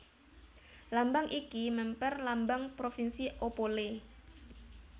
Lambang iki mèmper Lambang Provinsi Opole